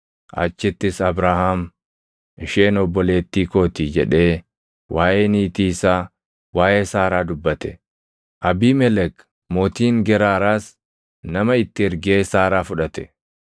Achittis Abrahaam, “Isheen obboleettii koo ti” jedhee waaʼee niitii isaa, waaʼee Saaraa dubbate. Abiimelek mootiin Geraaraas nama itti ergee Saaraa fudhate.